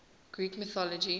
greek mythology